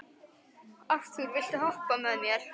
Arthúr, viltu hoppa með mér?